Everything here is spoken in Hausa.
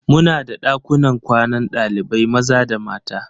Muna da ɗakunan kwanan ɗalibai maza da mata.